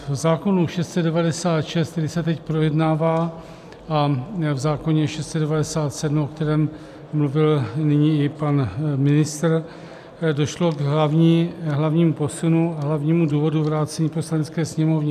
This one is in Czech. V zákonu 696, který se teď projednává, a v zákonu 697, o kterém mluvil nyní i pan ministr, došlo k hlavnímu posunu a hlavnímu důvodu vrácení Poslanecké sněmovně.